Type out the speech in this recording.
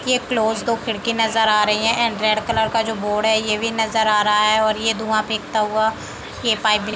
ये क्लोज दो खिड़की नज़र आ रही है एंड रेड कलर का जो बोर्ड है ये भी नज़र आ रहा है और ये धुआँ फेकता हुआ ये पाइप --